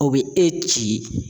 O bɛ e ci.